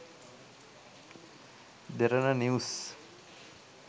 derana news